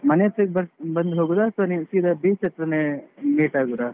ಮನೆ ಹತ್ರ ಅಹ್ ಬನ್~ ಬಂದು ಹೋಗುದಾ ಅಥ್ವಾ ನೀವ್ ಸೀದಾ beach ಹತ್ರನೇ meet ಆಗುದಾ?